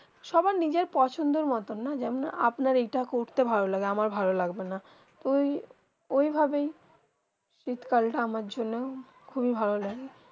সবার নিজের পছন্দ মতন যেমন আপনার এইটা করতে ভালো লাগলো আমার ভালো লাগলো না তো ঐই ভাবে সেই শীত কাল তা আমার জন্য খুব ভালো লাগে